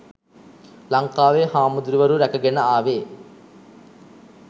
ලංකාවේ හාමුදුරුවරු රැකගෙන ආවේ